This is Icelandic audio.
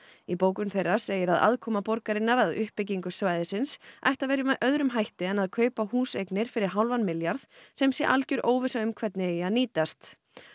í bókun þeirra segir að aðkoma borgarinnar að uppbyggingu svæðisins ætti að vera með öðrum hætti en að kaupa húseignir fyrir hálfan milljarð sem sé algjör óvissa um hvernig eigi að nýtast